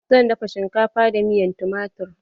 Zan dafa shinkafa da miyan tumatir.